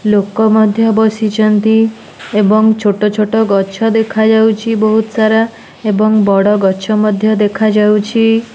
ଲୋକ ମଧ୍ୟ ବସିଚନ୍ତି ଏବଂ ଛୋଟଛୋଟ ଗଛ ଦେଖାଯାଉଚି ବୋହୁତସାରା ଏବଂ ବଡ଼ ଗଛ ମଧ୍ୟ ଦେଖାଯାଉଚି।